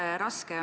Aitäh!